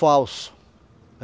Falso.